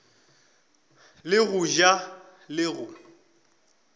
le go ja le go